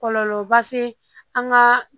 Kɔlɔlɔba se an ka